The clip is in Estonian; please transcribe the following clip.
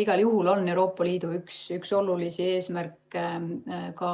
Igal juhul on Euroopa Liidu üks olulisi eesmärke ka